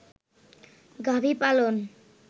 গাভী পালন